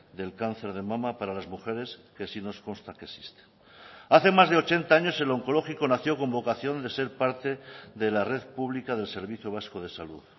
del cáncer de mama para las mujeres que sí nos consta que existe hace más de ochenta años el onkologiko nació con vocación de ser parte de la red pública del servicio vasco de salud